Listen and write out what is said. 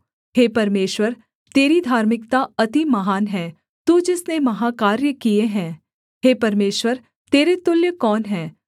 हे परमेश्वर तेरी धार्मिकता अति महान है तू जिसने महाकार्य किए हैं हे परमेश्वर तेरे तुल्य कौन है